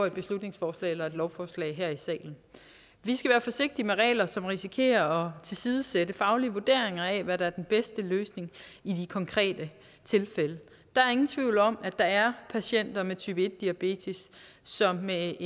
et beslutningsforslag eller et lovforslag her i salen vi skal være forsigtige med regler som risikerer at tilsidesætte faglige vurderinger af hvad der er den bedste løsning i de konkrete tilfælde der er ingen tvivl om at der er patienter med type en diabetes som med